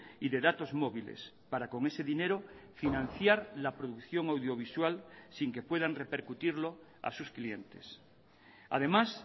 y de datos móviles para con ese dinero financiar la producción audiovisual sin que puedan repercutirlo a sus clientes además